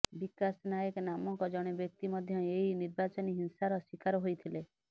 ବିକାଶ ନାଏକ ନାମକ ଜଣେ ବ୍ୟକ୍ତି ମଧ୍ୟ ଏହି ନିର୍ବାଚନୀ ହିଂସାର ଶିକାର ହୋଇଥିଲେ